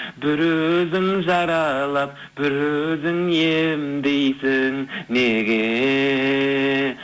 бір өзің жаралап бір өзің емдейсің неге